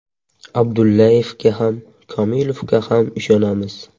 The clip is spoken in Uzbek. Abdullayevga ham, Komilovga ham ishonamiz.